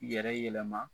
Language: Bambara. Yɛrɛ yɛlɛma